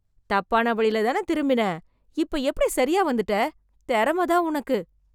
தப்பான வழில தான திரும்பின, இப்ப எப்படி சரியா வந்துட்ட. திறம தான் உனக்கு.